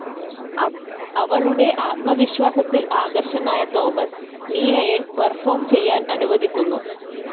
അവളുടെ ആത്മവിശ്വാസത്തിൽ ആകർഷകനായ തോമസ് നീനയെ പെർഫോം ചെയ്യാൻ അനുവദിക്കുന്നു.